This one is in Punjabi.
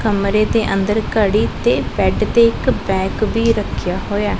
ਕਮਰੇ ਦੇ ਅੰਦਰ ਘੜੀ ਤੇ ਬੈਡ ਤੇ ਇੱਕ ਬੈਗ ਵੀ ਰੱਖਿਆ ਹੋਇਐ।